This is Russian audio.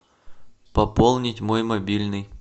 пополнить мой мобильный